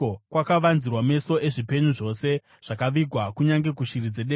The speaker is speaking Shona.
Kwakavanzirwa meso ezvipenyu zvose, zvakavigwa kunyange kushiri dzedenga.